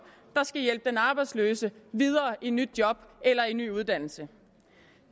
der skal hjælpe den arbejdsløse videre til nyt job eller ny uddannelse